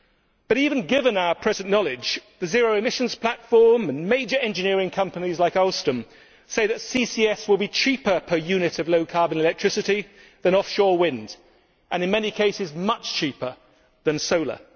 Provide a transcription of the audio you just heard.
But, even given our present knowledge, the Zero Emissions Platform and major engineering companies like Alstom say that CCS will be cheaper per unit of low carbon electricity than offshore wind, and in many cases much cheaper than solar.